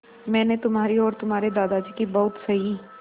मैंने तुम्हारी और तुम्हारे दादाजी की बहुत सही